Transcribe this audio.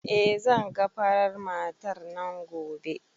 Eh zan ga farar matar nan gobe